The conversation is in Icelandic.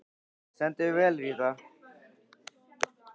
Þú stendur þig vel, Ríta!